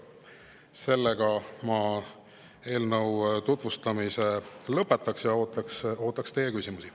Sellega ma eelnõu tutvustamise lõpetan ja ootan teie küsimusi.